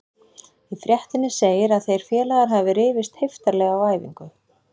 Í fréttinni segir að þeir félagar hafa rifist heiftarlega á æfingu.